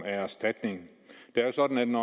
erstatning det er sådan